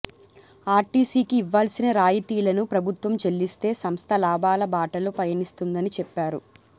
ఆర్టీసీకి ఇవ్వాల్సిన రాయితీలను ప్రభుత్వం చెల్లిస్తే సంస్థ లాభాల బాటలో పయనిస్తుందని చెప్పారు